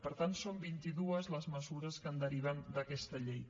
per tant són vint i dues les mesures que en deriven d’aquesta llei